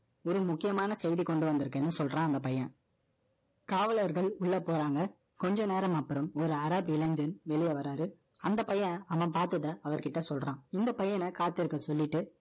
ஒரு முக்கியமான செய்தி கொண்டு வந்துருக்கேன்னு சொல்றான் அந்த பையன். காவலர்கள் உள்ள போறாங்க. கொஞ்ச நேரம் அப்புறம், ஒரு அரபு இளைஞன் வெளிய வராரு. அந்த பையன், அவன் பார்த்ததை, அவர் கிட்ட சொல்றான். இந்த பையன காத்திருக்க சொல்லிட்டு,